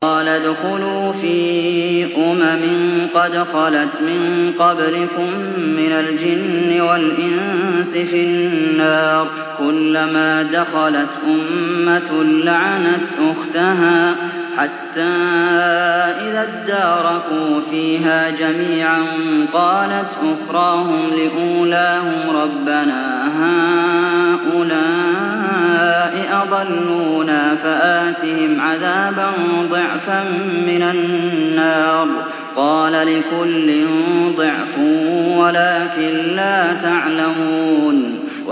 قَالَ ادْخُلُوا فِي أُمَمٍ قَدْ خَلَتْ مِن قَبْلِكُم مِّنَ الْجِنِّ وَالْإِنسِ فِي النَّارِ ۖ كُلَّمَا دَخَلَتْ أُمَّةٌ لَّعَنَتْ أُخْتَهَا ۖ حَتَّىٰ إِذَا ادَّارَكُوا فِيهَا جَمِيعًا قَالَتْ أُخْرَاهُمْ لِأُولَاهُمْ رَبَّنَا هَٰؤُلَاءِ أَضَلُّونَا فَآتِهِمْ عَذَابًا ضِعْفًا مِّنَ النَّارِ ۖ قَالَ لِكُلٍّ ضِعْفٌ وَلَٰكِن لَّا تَعْلَمُونَ